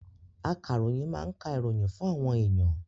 Akaroyin máa ń ka ìròyìn fún àwọn èèyàn